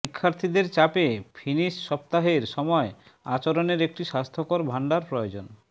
শিক্ষার্থীদের চাপে ফিনিস সপ্তাহের সময় আচরণের একটি স্বাস্থ্যকর ভাণ্ডার প্রয়োজন